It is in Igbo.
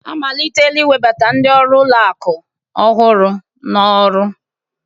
Amalitela iwebata ndị ọrụ ụlọ akụ ọhụrụ n'ọrụ